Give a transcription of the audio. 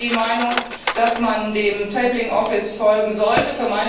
Ich vertrete die Meinung, dass man dem Tabling Office folgen sollte.